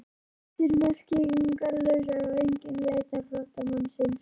Flótti er merkingarlaus ef enginn leitar flóttamannsins.